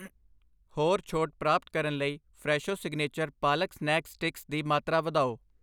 ਹੋਰ ਛੋਟ ਪ੍ਰਾਪਤ ਕਰਨ ਲਈ Fresho signature palak snack sticks ਦੀ ਮਾਤਰਾ ਵਧਾਓ